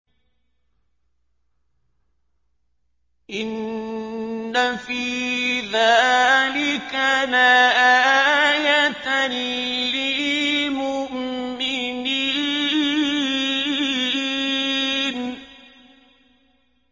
إِنَّ فِي ذَٰلِكَ لَآيَةً لِّلْمُؤْمِنِينَ